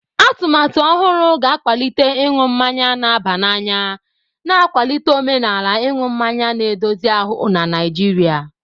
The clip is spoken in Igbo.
Atụmatụ ọhụrụ ga-akwalite ịṅụ mmanya na-aba n'anya, na-akwalite omenala ịṅụ mmanya na-edozi ahụ na Naijiria.